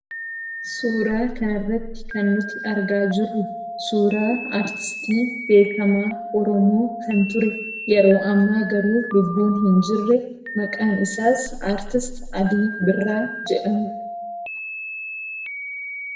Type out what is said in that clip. Suuraa kanarratti kan nuti argaa jirru suuraa aartistii beekamaa Oromoo kan ture yeroo ammaa garuu lubbuun hin jirre, maqaan isaas Aartist Alii Birraa jedhama.